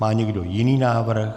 Má někdo jiný návrh?